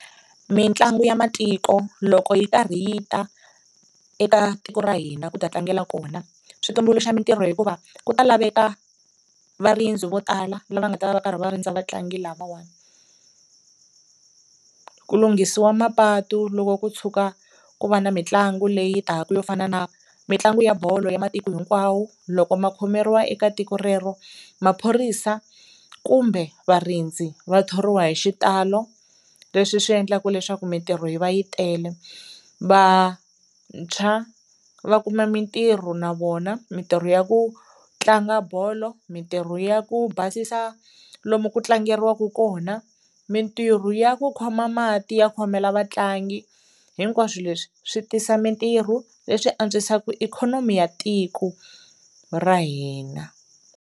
Mitlangu ya matiko loko yi karhi yi ta eka tiko ra hina ku ta tlangela kona swi tumbuluxa mintirho hikuva ku ta laveka varindzi vo tala lava nga ta va va karhi va rindza vatlangi lavawani, ku lunghisiwa mapatu loko ku tshuka ku va na mitlangu leyi taka yo fana na mitlangu ya bolo ya matiko hinkwawo loko ma khomeriwa eka tiko rero maphorisa kumbe varindzi va thoriwa hi xitalo leswi swi endlaka leswaku mintirho yi va yi tele. Vantshwa va kuma mintirho na vona mintirho ya ku tlanga bolo, mintirho ya ku basisa lomu ku tlangeriwaka kona, mintirho ya ku khoma mati ya khomela vatlangi, hinkwaswo leswi swi tisa mintirho leswi antswisaka ikhonomi ya tiko ra hina.